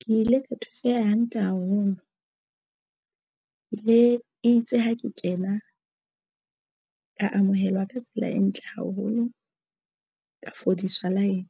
Ke ile ka thuseha hantle haholo itse ha ke kena ka amohelwa ka tsela e ntle haholo ka fodiswa line